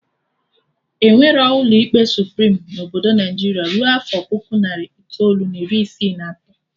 Enwerọ ụlọ ikpe Suprim na Obodo Naijiria rue afọ puku narị itoolu na iri isii na atọ